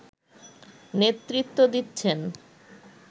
নেতৃত্ব দিচ্ছেন